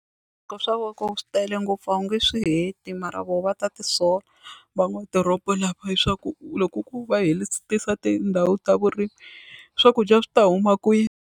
swi tele ngopfu a wu nge swi heti mara vona va ta tisola lava leswaku loko ku va hetisisa tindhawu ta vurimi swakudya swi ta huma kwihi.